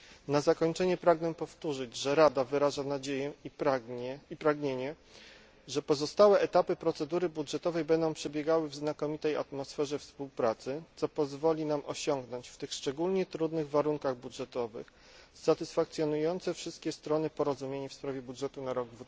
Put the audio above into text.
Na zakończenie pragnę powtórzyć, że Rada wyraża nadzieję i pragnienie, że pozostałe etapy procedury budżetowej będą przebiegały w znakomitej atmosferze współpracy, co pozwoli nam osiągnąć w tych szczególnie trudnych warunkach budżetowych satysfakcjonujące wszystkie strony porozumienie w sprawie budżetu na rok